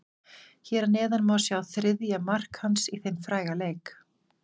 Hér að neðan má sjá þriðja mark hans í þeim fræga leik.